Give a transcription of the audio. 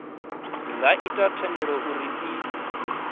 nga ita uri thendelo i